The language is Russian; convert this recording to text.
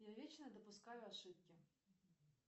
я вечно допускаю ошибки